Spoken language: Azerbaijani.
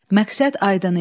Məqsəd aydın idi.